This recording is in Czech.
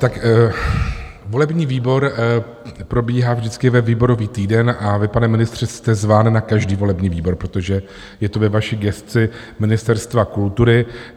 Tak volební výbor probíhá vždycky ve výborový týden a vy, pane ministře, jste zván na každý volební výbor, protože je to ve vaší gesci Ministerstva kultury.